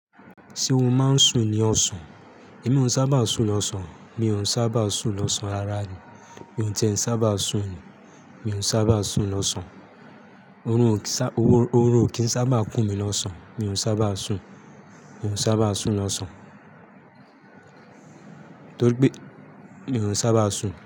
Ṣé o máa ń sùn ní ọ̀sán? Èmi ò sábà sùn lọ́sàn-án. Mi ò sábà sùn lọ́sàn-án ara mi. Ohun tí ẹ̀ n sábà sùn ni. Mi ò sábà sùn lọ́sàn-án, oorun o sá Orun ò kí n sábà kún mi lọ́sàn-án. Mi ò sábà sùn. Mi ò sábà sùn lọ́sàn-án. Torí pé mi ò sábà sùn.